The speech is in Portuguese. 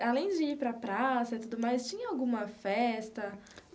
E, além de ir para a praça e tudo mais, tinha alguma festa?